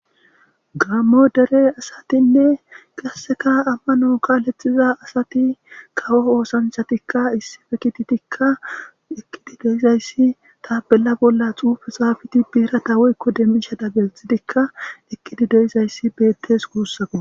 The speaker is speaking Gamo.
gammo dere asatinne qasseka ammano kalethiza asati kawo oosanchatikka issife kititikka eqqidi deizayssi taabella bolla xuufe xaabiti biiratawoykko demmisha dabethitikka eqqidi deizayssi bettes guussako